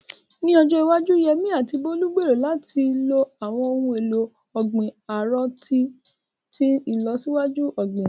Ní ọjọ́ iwájú, Yemí àti Bólú gbèrò láti lo àwọn ohun èlò ọ̀gbìn árò tó ti ní ìlọsíwájú fún ọ̀gbìn.